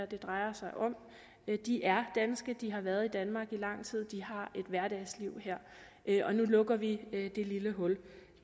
det drejer sig om de er danske de har været danmark i lang tid de har et hverdagsliv her nu lukker vi det lille hul